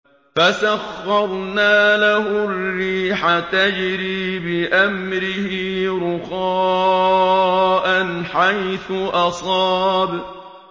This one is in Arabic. فَسَخَّرْنَا لَهُ الرِّيحَ تَجْرِي بِأَمْرِهِ رُخَاءً حَيْثُ أَصَابَ